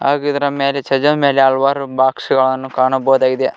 ಹಾಗಿದ್ರೆ ಮೇಲೆ ಚಜ ಮೇಲೆ ಹಲವಾರು ಬಾಕ್ಸ್ಸು ಗಳನ್ನು ಕಾಣಬಹುದಾಗಿದೆ.